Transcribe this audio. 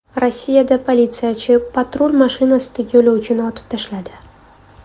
Rossiyada politsiyachi patrul mashinasidagi yo‘lovchini otib tashladi.